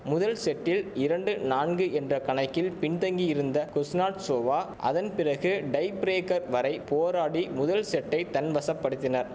முதல் செட்டில் இரண்டு நான்கு என்ற கணக்கில் பின் தங்கி இருந்த குஸ்னாட்சோவா அதன் பிறகு டைபிரேக்கர் வரை போராடி முதல் செட்டை தன்வசப்படுத்தினர்